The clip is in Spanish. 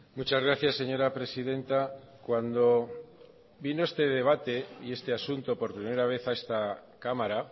muchas gracias señora presidenta cuando vino este debate y este asunto por primera vez a esta cámara